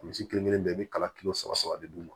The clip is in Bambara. Misi kelen kelen bɛɛ i bi kala kilo saba saba de d'u ma